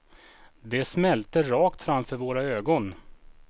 De smälte rakt framför våra ögon.